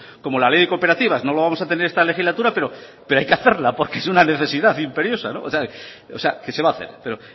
como la ley de cooperativas no la vamos a tener en esta legislatura pero hay que hacerla porque es una necesidad imperiosa que se va a hacer